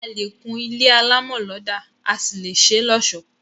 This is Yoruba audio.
A lè kún ilé alámọ̀ lọ́dà, a sì lè ṣé lọ́ọ̀sọ́